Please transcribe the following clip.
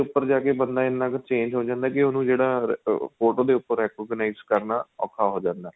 ਉੱਪਰ ਜਾਕੇ ਬੰਦਾ ਇਹਨਾ ਕ਼ change ਹੋ ਜਾਂਦਾ ਏ ਕੀ ਉਹਨੂੰ ਜਿਹੜਾ ਫ਼ੋਟੋ ਦੇ ਉੱਪਰ ਜਿਹੜਾ recognized ਕਰਨਾ ਔਖਾ ਹੋ ਜਾਂਦਾ ਏ